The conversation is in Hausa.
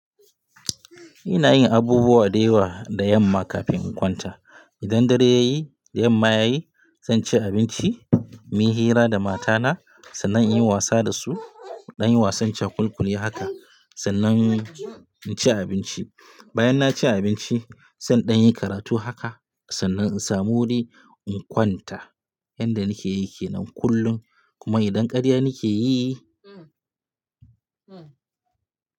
Ina yin abubuwa da yawa da yamma kafin in kwanta. Idan dare ya yi, da yamma ya yi, zan ci abinci, muyi hira da matana sannan in yi wasa dasu. Danyi wasan cakulkuli haka sannan in ci abinci. Bayan na ci abinci, se in dan yi karatu haka sannan in samu wuri in kwanta. Yanda nakeyi kenan kullum. Kuma idan karya nake yi.